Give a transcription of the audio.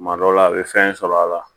Kuma dɔ la a bɛ fɛn sɔrɔ a la